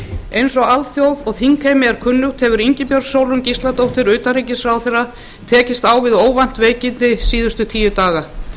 eins og alþjóð og þingheimi er kunnugt hefur ingibjörg sólrún gísladóttir utanríkisráðherra tekist á við óvænt veikindi síðustu tíu daga